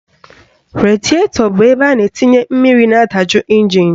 Radietọ bụ ebe a na-etinye mmiri na-adaju ịnjin